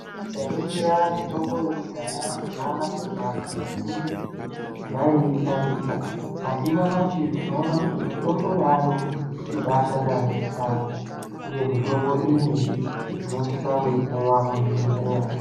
Tikaningira mitombo yekudhaya tinoona kuti anthu azhinji vaishandisa ,asi nyamashi tinoona kuti mitombo yaayo inobashanda yaamho uye mitombo iyi tinosise kuipuwa kuzvibhehlera.